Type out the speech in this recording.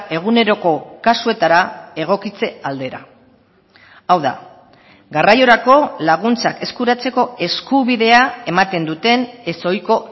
eguneroko kasuetara egokitze aldera hau da garraiorako laguntzak eskuratzeko eskubidea ematen duten ez ohiko